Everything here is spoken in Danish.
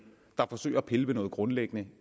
der forsøger at pille ved noget grundlæggende